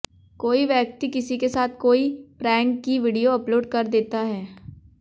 कोई व्यक्ति किसी के साथ कोई प्रेंक की वीडियो अपलोड कर देता है